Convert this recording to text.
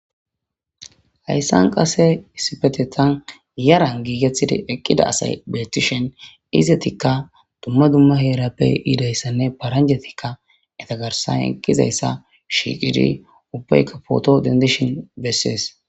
hayssan qase isipetetan yaran giigetida eqqida asay beetishen izetikka dumma dumma heerappe iidayssanne paranjetikka etagarsan eqqizayssa shiiqidi ubbeykka poto dendishin bessees